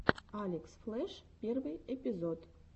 алекс флеш первый эпизод